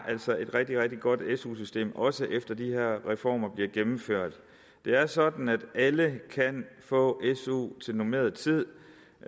et rigtig rigtig godt su system også efter at de her reformer bliver gennemført det er sådan at alle kan få su til normeret tid